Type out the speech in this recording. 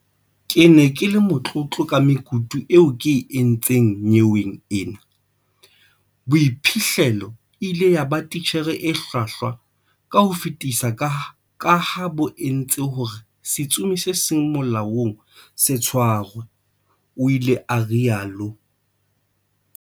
Ke ne ke le motlotlo ka mekutu eo ke e entseng nyeweng ena, boiphihlelo e ile ya ba titjhere e hlwahlwa ka ho fetisisa kaha bo entse hore setsomi se seng molaong se tshwarwe, o ile a rialo.